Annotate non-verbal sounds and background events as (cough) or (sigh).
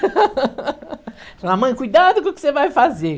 (laughs) Falar, mãe, cuidado com o que você vai fazer.